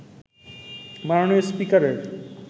মাননীয় স্পিকারের